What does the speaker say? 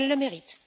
Elle le mérite.